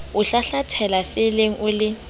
o hlahlathela felleng o le